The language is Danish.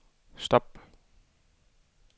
stop